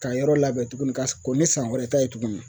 Ka yɔrɔ labɛn tuguni ka kon ni san wɛrɛ ta ye tuguni.